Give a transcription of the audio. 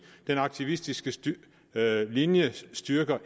den aktivistiske linje ikke styrker